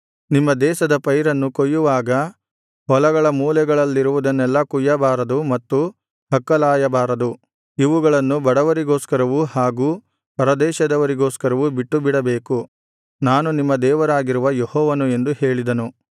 ನಿಮ್ಮ ದೇಶದ ಪೈರನ್ನು ಕೊಯ್ಯುವಾಗ ಹೊಲಗಳ ಮೂಲೆಗಳಲ್ಲಿರುವುದನ್ನೆಲ್ಲಾ ಕೊಯ್ಯಬಾರದು ಮತ್ತು ಹಕ್ಕಲಾಯಬಾರದು ಇವುಗಳನ್ನು ಬಡವರಿಗೋಸ್ಕರವು ಹಾಗು ಪರದೇಶದವರಿಗೋಸ್ಕರವು ಬಿಟ್ಟುಬಿಡಬೇಕು ನಾನು ನಿಮ್ಮ ದೇವರಾಗಿರುವ ಯೆಹೋವನು ಎಂದು ಹೇಳಿದನು